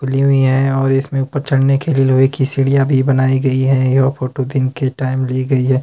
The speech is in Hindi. खुली हुई हैं और इसमें ऊपर चढ़ने के लिए लोहे की सीढ़ियां भी बनाई गई हैं यह फोटो दिन के टाइम ली गई है।